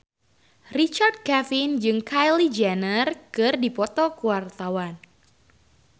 Richard Kevin jeung Kylie Jenner keur dipoto ku wartawan